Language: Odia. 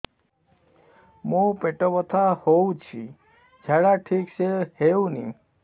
ମୋ ପେଟ ବଥା ହୋଉଛି ଝାଡା ଠିକ ସେ ହେଉନି